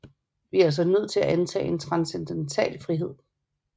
Vi er altså nødt til at antage en transcendental frihed